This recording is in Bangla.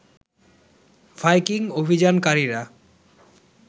ভাইকিং অভিযানকারীরা